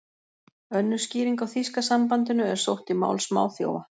Önnur skýring á þýska sambandinu er sótt í mál smáþjófa.